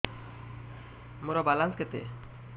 ମୋର ବାଲାନ୍ସ କେତେ